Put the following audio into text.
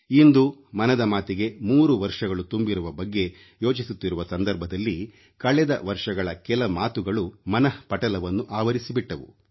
ಇಂದು ಮನದ ಮಾತಿಗೆ 3 ವರ್ಷಗಳು ತುಂಬಿರುವ ಬಗ್ಗೆ ಯೋಚಿಸುತ್ತಿರುವ ಸಂದರ್ಭದಲ್ಲಿ ಕಳೆದ ವರ್ಷಗಳ ಕೆಲ ಮಾತುಗಳು ಮನಃಪಟಲವನ್ನು ಆವರಿಸಿಬಿಟ್ಟವು